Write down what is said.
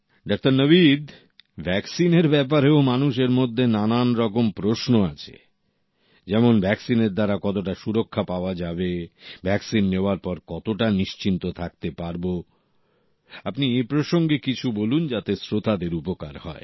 doctor Nabid ভ্যাকসিনের ব্যাপারেও মানুষের মধ্যে নানা রকম প্রশ্ন আছে যেমন ভ্যাকসিন এর দ্বারা কতটা সুরক্ষা পাওয়া যাবে ভ্যাকসিন নেওয়ার পর কতটা নিশ্চিন্ত থাকতে পারবো আপনি এ প্রসঙ্গে কিছু বলুন যাতে শ্রোতাদের উপকার হয়